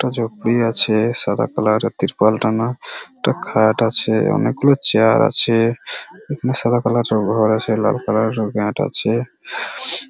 একটা জপি আছে সাদা কালার -এর ত্রিপাল টানা একটা খাট আছে অনেকগুলো চেয়ার আছে এখানে সাদা কালার ঘর আছে লাল কালার -এর ম্যাট আছে ।